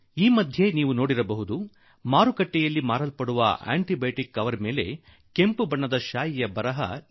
ಈ ದಿನಗಳಲ್ಲಿ ಮಾರಾಟವಾಗುವ ಆಂಟಿ ಬಯೋಟಿಕ್ ಗಳ ಮೇಲೆ ಒಂದು ಕೆಂಪು ರೇಖೆ ಸೂಚಿಸಲಾಗಿರುತ್ತದೆ